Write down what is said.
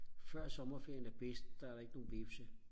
før sommerferien er bedst der er der ikke nogle hvepse